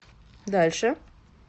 дальше